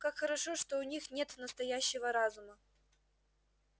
как хорошо что у них нет настоящего разума